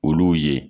Olu ye